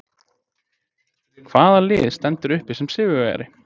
Hvaða lið stendur uppi sem sigurvegari?